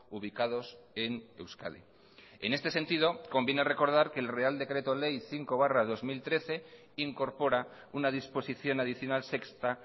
ubicados en euskadi en este sentido conviene recordar que el real decreto ley cinco barra dos mil trece incorpora una disposición adicional sexta